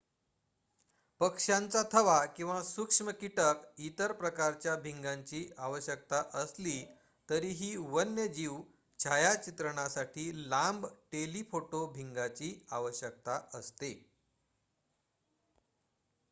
पक्ष्यांचा थवा किंवा सूक्ष्म कीटक इतर प्रकारच्या भिंगांची आवश्यकता असली तरीही वन्यजीव छायाचित्रणासाठी लांब टेलीफोटो भिंगांची आवश्यकता असते